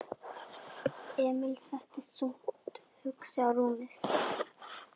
Emil settist þungt hugsi á rúmið.